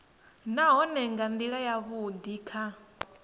nahone nga ndila yavhudi kha